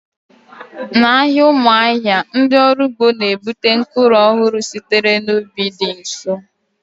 N'ahịa Umuahia, ndị ọrụ ugbo na-ebute mkpụrụ ọhụrụ sitere n'ubi dị nso